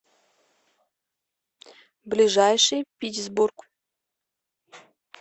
ближайший питьсбург